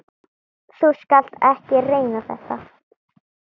Þú skalt ekki reyna þetta.